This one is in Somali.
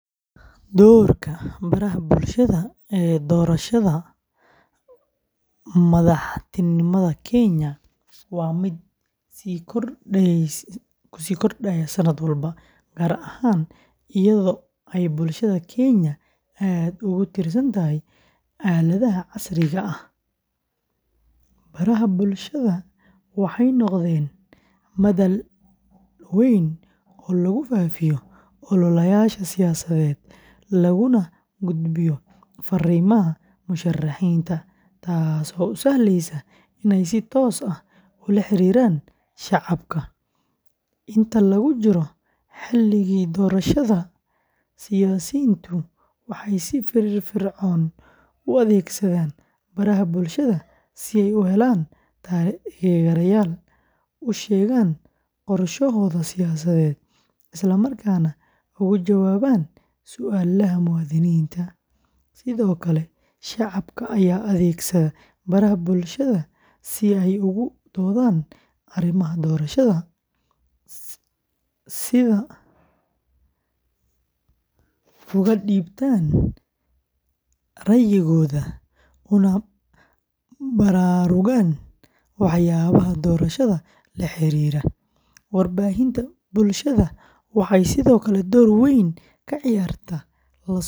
Doorka baraha bulshada ee doorashada madaxtinimada Kenya waa mid sii kordhaya sanad walba, gaar ahaan iyadoo ay bulshada Kenya aad ugu tiirsan tahay aaladaha casriga ah. Baraha bulshada waxay noqdeen madal weyn oo lagu faafiyo ololayaasha siyaasadeed, laguna gudbiyo fariimaha musharaxiinta, taasoo u sahleysa inay si toos ah ula xiriiraan shacabka. Inta lagu jiro xilligii doorashada, siyaasiyiintu waxay si firfircoon u adeegsadaan baraha bulshada si ay u helaan taageerayaal, u sheegaan qorshahooda siyaasadeed, isla markaana uga jawaabaan su'aalaha muwaadiniinta. Sidoo kale, shacabka ayaa adeegsada baraha bulshada si ay uga doodaan arrimaha doorashada, uga dhiibtaan ra’yigooda, una baraarugaan waxyaabaha doorashada la xiriira. Warbaahinta bulshada waxay sidoo kale door weyn ka ciyaartaa la socodka hannaanka.